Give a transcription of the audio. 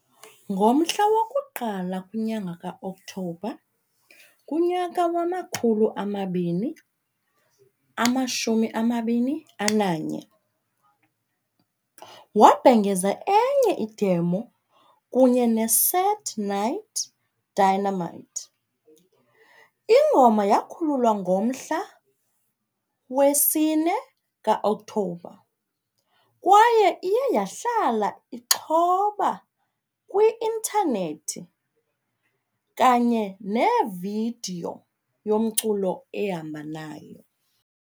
Ngomhla woku-Iku-Okthobela ka-2021, wabhengeza enye "idemon" kunye neSadnightdynamite. Ingoma yakhululwa nge-4 ka-Okthobha kwaye iye yahlala ixhoba kwi-intanethi kunye nevidiyo yomculo ehamba nayo.